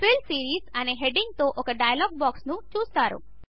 fill series అనే హెడ్డింగ్తో ఒక డైలాగ్ బాక్స్ను చూస్తారు